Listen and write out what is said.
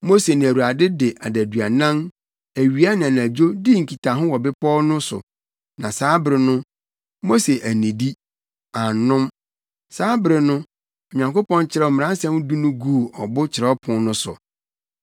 Mose ne Awurade de adaduanan, awia ne anadwo, dii nkitaho wɔ bepɔw no so, na saa bere no, Mose annidi, annom. Saa bere no, Onyankopɔn kyerɛw Mmaransɛm Du no guu ɔbo kyerɛwpon no so.